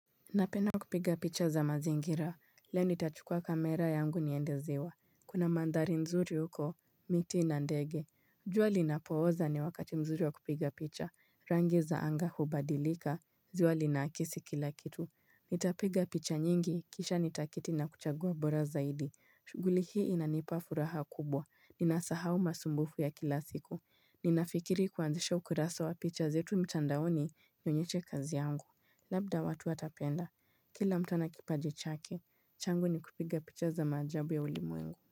Napenda kupiga picha za mazingira, le o nitachukua kamera yangu niende ziwa Kuna mandhari nzuri uko, miti na ndege jua linapooza ni wakati mzuri wa kupiga picha, rangi za anga hubadilika, ziwa linaakisi kila kitu. Nitapiga picha nyingi, kisha nitaketi na kuchagua bora zaidi. Shughuli hii inanipa furaha kubwa, ninasahau masumbufu ya kila siku Ninafikiri kuanzisha ukurasa wa picha zetu mtandaoni nionyeshe kazi yangu. Labda watu watapenda, kila mtu ana kipaji chake, changu ni kupiga picha za maajabu ya ulimwengu.